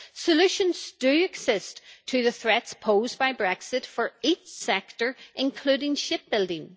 Solutions do exist to the threats posed by Brexit for each sector, including shipbuilding.